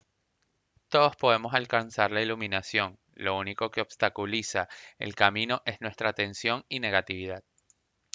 todos podemos alcanzar la iluminación lo único que obstaculiza el camino es nuestra tensión y negatividad